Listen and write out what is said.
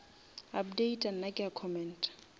updata nna ke a commenta